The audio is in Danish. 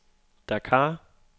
Dakar